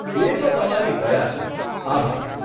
એ તો તમારી દયા છે, આભાર.